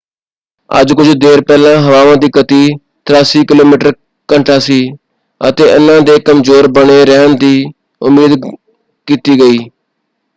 ਅੱਜ ਕੁੱਝ ਦੇਰ ਪਹਿਲਾਂ ਹਵਾਵਾਂ ਦੀ ਗਤਿ 83 ਕਿਮੀ/ਘੰਟਾ ਸੀ ਅਤੇ ਇਹਨਾਂ ਦੇ ਕਮਜ਼ੋਰ ਬਣੇ ਰਹਿਣ ਦੀ ਉਮੀਦ ਕੀਤੀ ਗਈ।